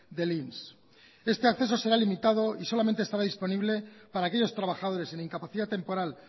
del inss este acceso será limitado y solamente estará disponible para aquellos trabajadores de incapacidad temporal